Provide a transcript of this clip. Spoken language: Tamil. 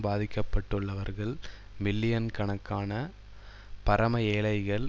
பாதிக்கப்பட்டுள்ளவர்கள் மில்லியன் கணக்கான பரம ஏழைகள்